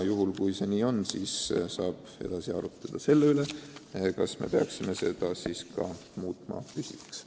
Kui see nii on, siis saab edasi arutleda selle üle, kas me peaksime süsteemi püsivaks muutma.